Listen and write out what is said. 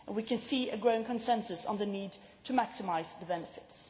We can see a growing consensus on the need to maximise the benefits.